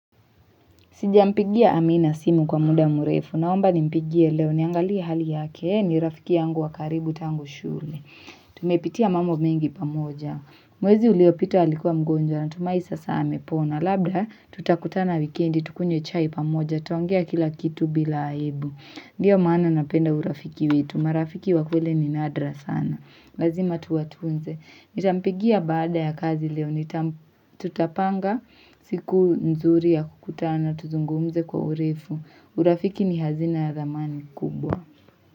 Sijampigia amina simu kwa muda mrefu. Naomba nimpigie leo niangalie hali yake ni rafiki yangu wakaribu tangu shule. Tumepitia mambo mengi pamoja. Mwezi uliopita alikuwa mgonjwa na tumai sasa amepona. Labda tutakutana wikendi tukunywe chai pamoja. Tutaongea kila kitu bila aibu. Ndiyo maana napenda urafiki wetu. Marafiki wakweli ni nadra sana. Lazima tuwa tunze. Nitampigia baada ya kazi leo. Tutapanga siku nzuri ya kukutana tuzungumze kwa urefu. Urafiki ni hazina ya thamani kubwa.